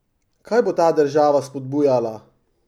Kaj bo ta država spodbujala?